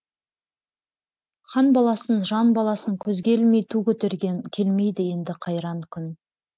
хан баласын жан баласын көзге ілмей ту көтерген келмейді енді қайран күн